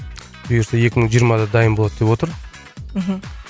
бұйырса екі мың жиырмада дайын болады деп отыр мхм